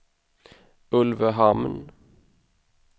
Ulvöhamn